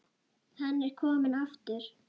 Hann er kominn aftur!